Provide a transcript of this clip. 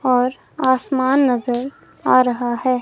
और आसमान नजर आ रहा है।